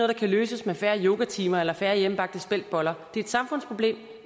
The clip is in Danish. der kan løses med færre yogatimer eller færre hjemmebagte speltboller det er et samfundsproblem